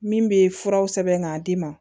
Min bɛ furaw sɛbɛn k'a d'i ma